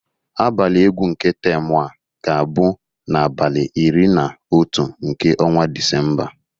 Abalị egwu nke temụ a ga-abụ n'abalị iri na otu nke ọnwa Disemba